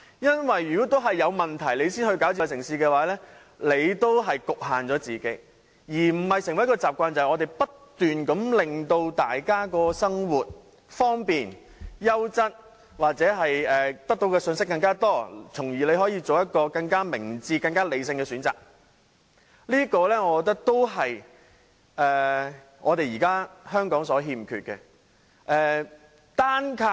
因為如果是有問題才推動智慧城市的發展，仍然是局限了自己，而不是成為一種習慣，即我們不斷令大家在生活上變得方便、優質或獲得更多信息，從而作出更明智和理性的選擇，我認為這也是現時香港欠缺的。